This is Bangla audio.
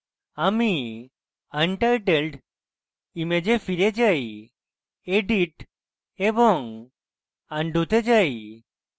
আমি untitled image ফিরে যাই edit এবং undo তে যাই